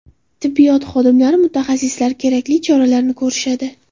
Tibbiyot xodimlari, mutaxassislar kerakli choralarni ko‘rishadi.